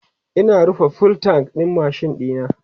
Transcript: Ina rufe fuel tank ɗin machine ɗina